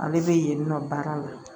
Ale bɛ yen nɔ baara la